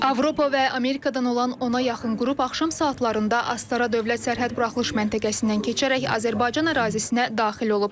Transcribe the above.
Avropa və Amerikadan olan ona yaxın qrup axşam saatlarında Astara dövlət sərhəd buraxılış məntəqəsindən keçərək Azərbaycan ərazisinə daxil olub.